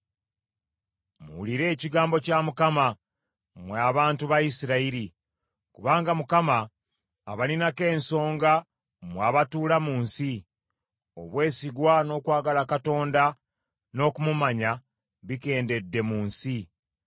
Muwulire ekigambo kya Mukama , mmwe abantu ba Isirayiri, kubanga Mukama abalinako ensonga mmwe abatuula mu nsi. “Obwesigwa n’okwagala Katonda, n’okumumanya bikendedde mu nsi.